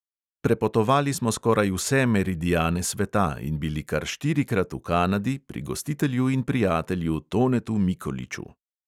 Prepotovali smo skoraj vse meridiane sveta in bili kar štirikrat v kanadi pri gostitelju in prijatelju tonetu mikoliču.